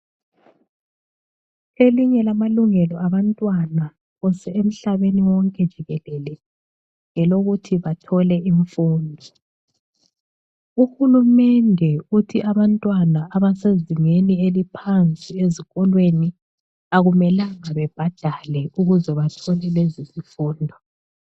Elinye lamalungelo abantwana phose emhlabeni wonke jikelele ngelokuthi bathole imfundo. Uhulumende othi abantwana abasezingeni eliphansi ezikolweni akumelanga bebhadale ukuze bathole lezi zifundo.